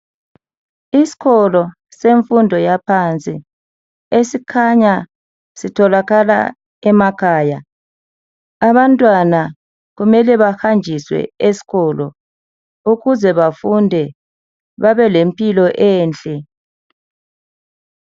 Isikolo semfundo yaphansi esikhanya sitholakala emakhaya abantwana kumele bahanjiswe esikolo ukuze bafunde babe lempilo enhle.